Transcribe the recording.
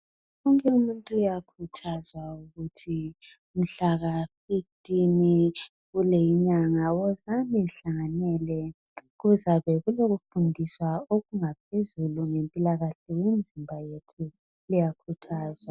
Wonke umuntu uyakhuthazwa ukuthi mhlaka 15 kuleyi inyanga wozani lihlanganele kuzabekulokufundiswa okungaphezulu ngempilakahle lemizimba yethu liyakhuthazwa.